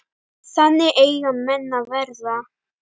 Þannig eiga menn að vera.